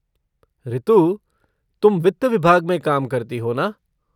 ऋतु, तुम वित्त विभाग में काम करती हो ना?